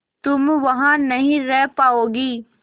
तुम वहां नहीं रह पाओगी